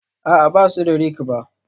A'a, ba su ba da rake ba